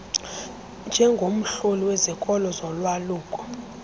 njengomhloli wezikolo zolwaluko